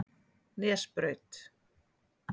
Nesbraut